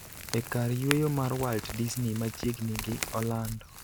e kar yweyo mar Walt Disney machiegni gi Orlando,